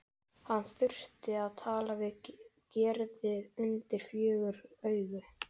Hann þurfti að tala við Gerði undir fjögur augu.